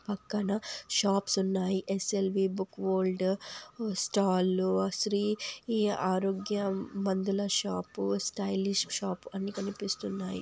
అక్కడ షాప్స్ ఉన్నాయి. SLV- book world book స్టాళ్లు శ్రీ ఈ ఆరోగ్య మందుల షాప్ స్టైలిష్ షాప్ అన్ని కనిపిస్తున్నాయి.